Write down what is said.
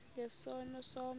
nge sono somnye